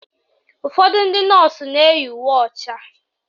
Ụfọdụ ndị nọọsụ na-eyi uwe ọcha